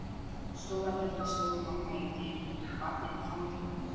Stóragerði stóð mamma í dyrunum með barnið í fanginu.